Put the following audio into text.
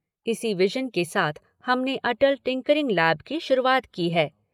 इसी विजन के साथ हम ने अटल टिंकरिंग लैब की शुरूआत की है।